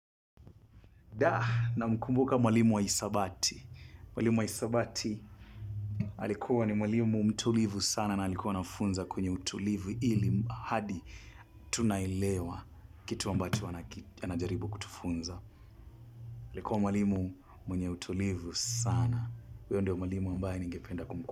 Na mkumbuka mwalimu wa hisabati. Mwalimu wa hisabati alikuwa ni mwalimu mtulivu sana na alikuwa anafunza kwenye utulivu ili, hadi tunaelewa kitu ambacho anaki, anajaribu kutufunza. Alikuwa mwalimu mwenye utulivu sana. Huyu ndo mwalimu ambaye ningependa kumkumu.